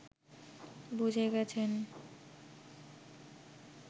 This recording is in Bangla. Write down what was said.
বুঝে গেছেন